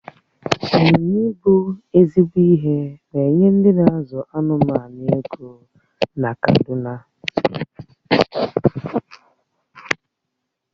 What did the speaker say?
Ị́nyinya ibu ezigbo ihe na-enye ndị n'azụ anụmanụ ego na kaduna